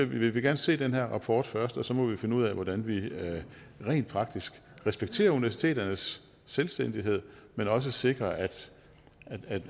vil vi gerne se den her rapport først og så må vi finde ud af hvordan vi rent praktisk respekterer universiteternes selvstændighed men også sikrer at